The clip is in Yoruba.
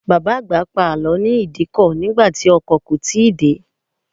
Bàbá àgbà pa àlọ́ ní Ìdíkọ̀ nígbà tí ọkọ̀ kò tíì dé.